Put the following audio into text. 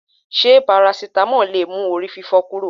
Ṣé parasitamọ́ọ̀ lè mú orí fífọ́ kúrò?